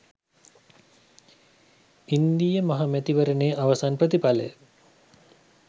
ඉන්දීය මහ මැතිවරණයේ අවසන් ප්‍රතිඵලය